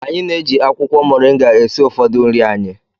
Anyị na-eji akwụkwọ mọrịnga esi ụfọdụ nri anyị.